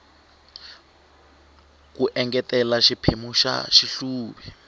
ku engetela xiphemu xa xihluvi